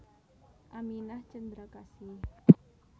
Aminah Cendrakasih